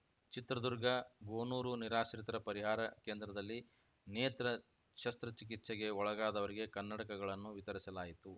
ಚಿತ್ರದುರ್ಗ ಗೋನೂರು ನಿರಾಶ್ರಿತರ ಪರಿಹಾರ ಕೇಂದ್ರದಲ್ಲಿ ನೇತ್ರ ಶಸ್ತಚಿಕಿತ್ಸೆಗೆ ಒಳಗಾದವರಿಗೆ ಕನ್ನಡಕಗಳನ್ನು ವಿತರಿಸಲಾಯಿತು